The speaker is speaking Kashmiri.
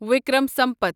وکرم سمپتھ